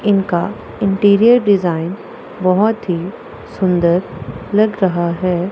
इनका interior design बहोत ही सुंदर लग रहा है।